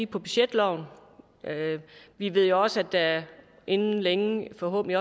på budgetloven og vi ved jo også at der inden længe forhåbentlig